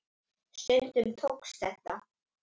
Stundum tókst þetta.